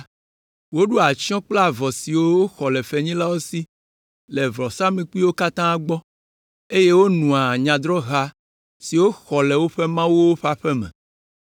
Woɖoa atsyɔ̃ kple avɔ siwo woxɔ le fenyilawo si le vɔsamlekpuiwo katã gbɔ, eye wonoa nyadrɔ̃ha siwo woxɔ le woƒe mawuwo ƒe aƒe me.